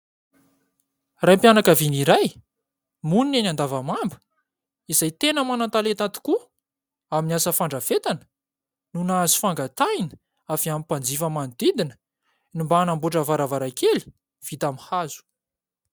Raim-pianakaviana iray monina eny Andavamamba, izay tena manan-talenta tokoa amin'ny asa fandrafetana no nahazo fangatahana avy amin'ny mpanjifa manodidina, ny mba hanamboatra varavarankely vita amin'ny hazo.